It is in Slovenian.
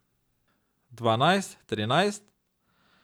Dvanajst, trinajst?